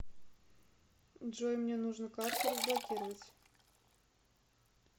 джой мне нужно карту разблокировать